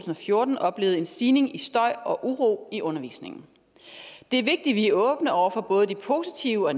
og fjorten oplevet en stigning i støj og uro i undervisningen det er vigtigt vi er åbne over for både de positive og